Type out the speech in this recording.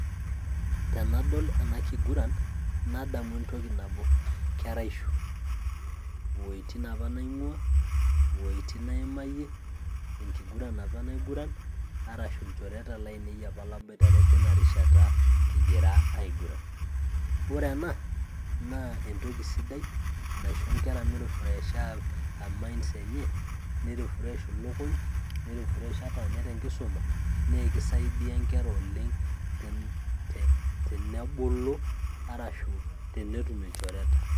Tenadol ena kiguran, nadamu entoki nabo keraisho, uweujitin apa naing'uaa, ewujitin naimayie, enkiguran apa naiguran arashu ilchoreita laainei apaa laboitare teina rishata kigira aigurra. Ore ena naa entoki sidai naisho enkera meirifuresha emainds enye neirufuresh elukuny' neirufuresh ata ninye tenkisuma naa keisaidia enkera oleng' tenebulu arashu tenetum ilchoreita.